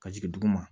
Ka jigin duguma